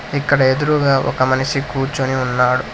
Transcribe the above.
ఇక్కడ ఎదురుగా ఒక మనిషి కూర్చుని ఉన్నాడు